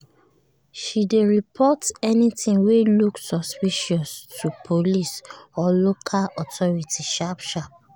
she dey report anything wey look suspicious to police or local authority sharp-sharp.